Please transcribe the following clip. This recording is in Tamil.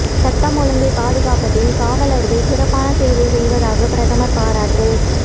சட்டம் ஒழுங்கை பாதுகாப்பதில் காவலர்கள் சிறப்பான சேவை செய்வதாக பிரதமர் பாராட்டு